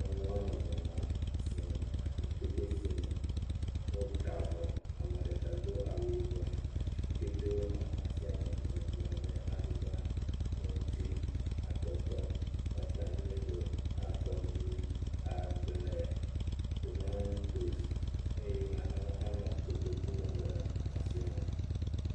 Nyɔnu ame eve nɔ asime. Atikutsetsesime, wota avɔ. Ame ɖeka do awu yibɔ. Atikutsetsewo nɔ asia me vovovo abe aduba, ŋuti, atɔtɔ, wɔtamelo, akɔɖu, ablɛ, tomatos eye nanewo hã nɔ kotoku me le asia me.